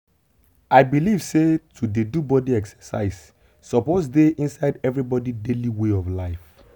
i believe say to dey do body exercise suppose dey inside everybody daily way of life.